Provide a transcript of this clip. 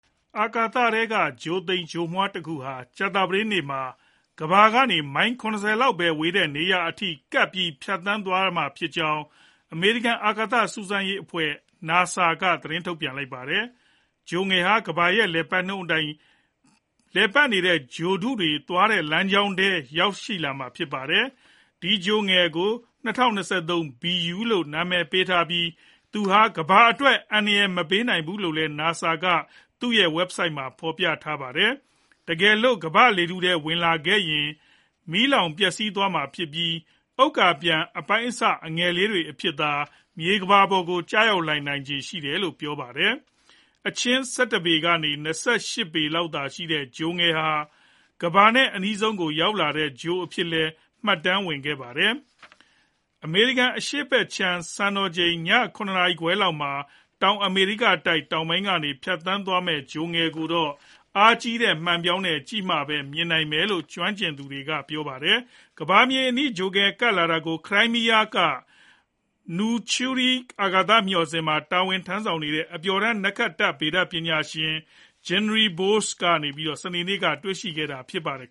အာကာထဲက ဂြိုဟ်သိမ်ဂြိုဟ်မွှားတခုဟာ ကြာသပတေးနေ့မှာ ကမ္ဘာကနေ မိုင် ၇၀ လောက်ပဲကွာဝေးတဲ့နေရာအထိကပ်ပြီး ဖြတ်သန်းသွားမှာဖြစ်ကြောင်း အမေရိကန်အာကာသစူးစမ်းရေးအဖွဲ့ NASA က သတင်းထုတ်ပြန်ပါတယ်။ အာကာသဂြိုဟ်ငယ်ဟာ ကမ္ဘာရဲ့လည်နှုန်းအတိုင်း ပတ်နေတဲ့ ဂြိုဟ်တုတွေသွားတဲ့လမ်းကြောင်းထဲ ရောက်လာမှာ ဖြစ်ပါတယ်။ ဒီဂြိုဟ်ငယ်ကို ၂၀၂၃ BU လို့ နာမည်ပေးထားပြီး သူဟာ ကမ္ဘာအတွက် အန္တရာယ်မပေးနိုင်ဘူးလို့လည်း NASA က သူ့ဝက်ဘ်ဆိုက်မှာ တင်ပြထားတာပါ။ တကယ်လို့ ကမ္ဘာ့လေထုထဲကိုဝင်လာခဲ့ရင်လည်း မီးလောင်ပျက်စီးသွားမှာဖြစ်ပြီး ဥက္ကာပျံအပိုင်းအစ အငယ်လေးတွေအဖြစ်သာ မြေကမ္ဘာကို ရောက်လာနိုင်ခြေရှိတယ်လို့လည်း ပြောပါတယ်။ အချင်း ၁၁ ပေကနေ ၂၈ ပေလောက်သာရှိတဲ့ ဂြိုဟ်ငယ်ဟာ ကမ္ဘာနဲ့ အနီးဆုံးကို ရောက်လာတဲ့ ဂြိုဟ်အဖြစ်နဲ့လည်း မှတ်တမ်းဝင်ခဲ့ပါတယ်။ အမေရိကန် အရှေ့ဘက်ခြမ်း စံတော်ချိန် ည ၇ နာရီခွဲလောက်မှာ တောင်အမေရိကတိုက် တောင်ပိုင်းကနေ ဖြတ်သွားမယ့် ဂြိုဟ်ငယ်ကိုတော့ အားကြီးတဲ့မှန်ပြောင်းနဲ့ကြည့်မှပဲမြင်နိုင်မယ်လို့ ကျွမ်းကျင်သူတွေက ပြောပါတယ်။ ကမ္ဘာမြေအနီး ဂြိုဟ်ငယ်ကပ်လာတာကို ခရိုင်းမီးယားက Nauchnyi အာကာသမျှော်စင်မှာ တာဝန်ထမ်းဆောင်နေတဲ့ အပျော်တမ်း နက္ခတ္တဗေဒပညာရှင် Gennadiy Borisov က စနေနေ့မှာ တွေ့ရှိခဲ့တာ ဖြစ်ပါတယ်